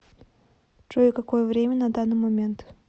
джой какое время на данный момент